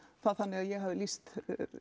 það þannig að ég hafi lýst